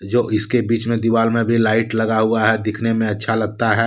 जो इसके बीच में दीवाल में भी लाइट लगा हुआ है दिखने में अच्छा लगता है।